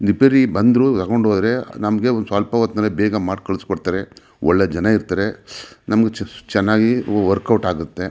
Repair ಬಂದ್ರು ತಗೊಂಡು ಹೋದ್ರೆ ನಮಗೆ ಸ್ವಲ್ಪ ಹೊತಿನಲ್ಲೇ ಬೇಗ ಮಾಡಿ ಕಳ್ಸಿ ಕೋಟಿಬಿಡ್ತಾರೆ ಒಳ್ಳೆ ಜನ ಇರ್ತಾರೆ ನಮಗೆ ಚೆನ್ನಾಗಿ ವರ್ಕೌಟ್ ಆಗುತ್ತೆ.